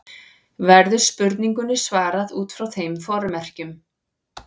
Verður spurningunni svarað út frá þeim formerkjum.